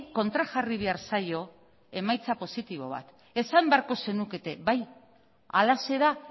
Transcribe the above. kontrajarri behar zaio emaitza positibo bat esan beharko zenukete bai halaxe da